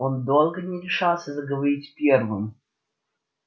он долго не решался заговорить первым